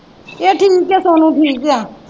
ਇਹ ਠੀਕ ਹੈ ਸੋਨੂੰ ਠੀਕ ਹੈ।